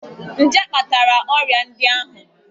Nje kpatara ọrịa ndị ahụ.